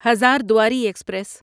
Hazarduari express